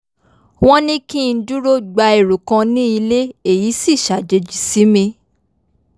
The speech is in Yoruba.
wọ́n ní kí n dúró gba ẹrù kan ní ilé èyí sì ṣàjèjì sí mi